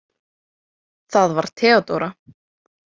Það var Theodóra.